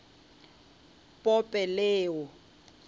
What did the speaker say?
pope leo